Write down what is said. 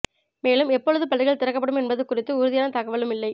மேலும் எப்பொழுது பள்ளிகள் திறக்கப்படும் என்பது குறித்து உறுதியான தகவலும் இல்லை